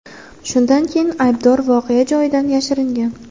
Shundan keyin aybdor voqea joyidan yashiringan.